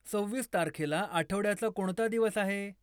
सव्वीस तारखेला आठवड्याचा कोणता दिवस आहे